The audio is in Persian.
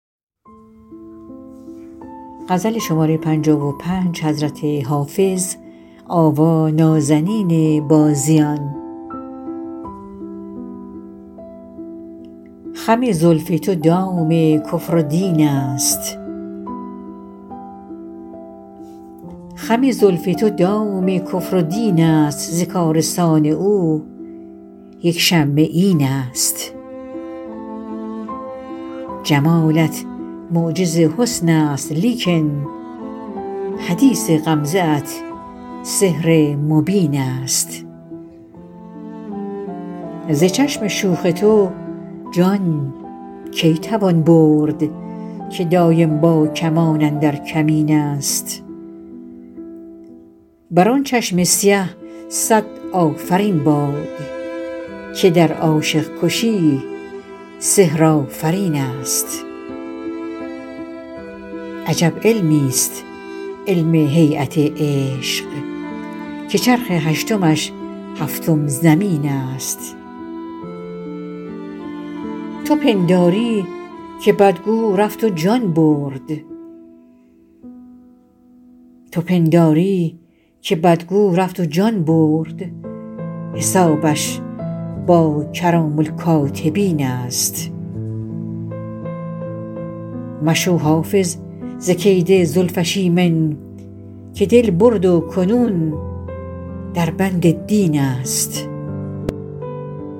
خم زلف تو دام کفر و دین است ز کارستان او یک شمه این است جمالت معجز حسن است لیکن حدیث غمزه ات سحر مبین است ز چشم شوخ تو جان کی توان برد که دایم با کمان اندر کمین است بر آن چشم سیه صد آفرین باد که در عاشق کشی سحرآفرین است عجب علمیست علم هییت عشق که چرخ هشتمش هفتم زمین است تو پنداری که بدگو رفت و جان برد حسابش با کرام الکاتبین است مشو حافظ ز کید زلفش ایمن که دل برد و کنون در بند دین است